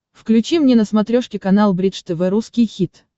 включи мне на смотрешке канал бридж тв русский хит